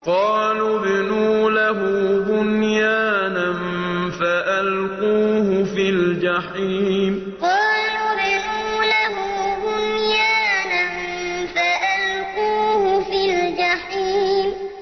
قَالُوا ابْنُوا لَهُ بُنْيَانًا فَأَلْقُوهُ فِي الْجَحِيمِ قَالُوا ابْنُوا لَهُ بُنْيَانًا فَأَلْقُوهُ فِي الْجَحِيمِ